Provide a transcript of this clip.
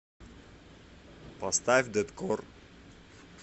поставь дэткор